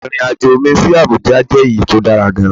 Irin-ajo mi si Abuja jẹ eyi ti o dara gaan